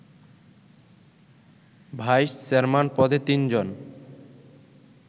vice chairman পদে তিনজন